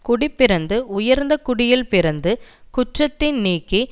குடிப்பிறந்து உயர்ந்த குடியில் பிறந்து குற்றத்தின் நீங்கி